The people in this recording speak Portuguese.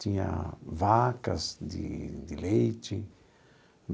Tinha vacas de de leite.